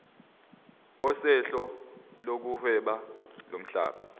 sohlelo lokuhweba lomhlaba